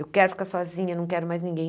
Eu quero ficar sozinha, não quero mais ninguém.